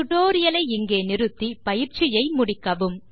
tutorial ஐ இங்கே நிறுத்தி பயிற்சியை முடிக்கவும்